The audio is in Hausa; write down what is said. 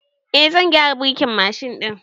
Eh, zan gyara birkin Mashin ɗin